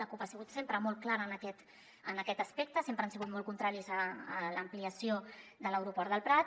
la cup ha sigut sempre molt clara en aquest aspecte sempre han si·gut molt contraris a l’ampliació de l’aeroport del prat